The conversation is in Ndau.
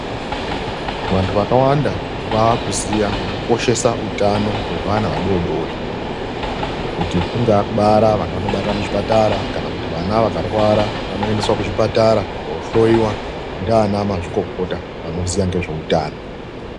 Vantu vakawanda vakuziya nekukoshesa utano hwevana vadodori, nekuti kungaakubara vantu vanobarira kuzvipatara kana kuti vana vakarwara vanoendeswa kuzvipatara kohloiwa ndiana mazvikokota vanoziya ngezveutano.